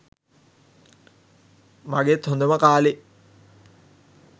මගෙත් හොඳම කාලෙ.